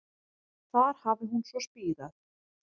Þar hafi hún svo spírað